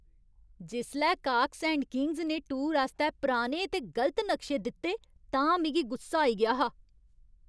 जिसलै Cox and Kings ने tour आस्तै पुराने ते गलत नक्शे दित्ते तां मिगी गुस्सा आई गेआ हा।